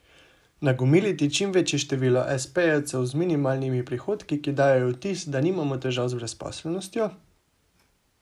Nagomiliti čim večje število espejevcev z minimalnimi prihodki, ki dajejo vtis, da nimamo težav z brezposelnostjo?